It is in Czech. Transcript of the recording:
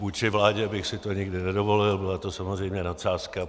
Vůči vládě bych si to nikdy nedovolil, byla to samozřejmě nadsázka.